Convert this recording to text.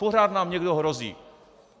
Pořád nám někdo hrozí.